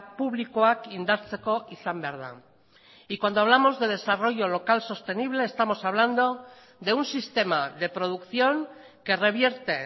publikoak indartzeko izan behar da y cuando hablamos de desarrollo local sostenible estamos hablando de un sistema de producción que revierte